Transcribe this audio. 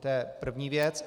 To je první věc.